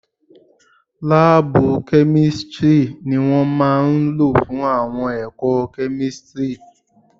Láàbù kẹ́místrì ni wọ́n máa lò fún àwọn ẹ̀kọ́ kẹ́místrì